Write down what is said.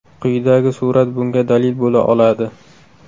Quyidagi surat bunga dalil bo‘la oladi.